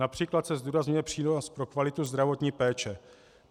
Například se zdůrazňuje přínos pro kvalitu zdravotní péče.